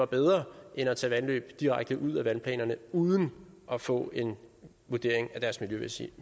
bedre end at tage vandløb direkte ud af vandplanerne uden at få en vurdering af deres miljømæssige